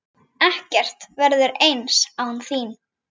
Ekkert verður eins án þín.